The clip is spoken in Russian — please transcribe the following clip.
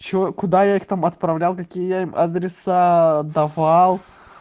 что куда я их там отправлял какие я им адреса давал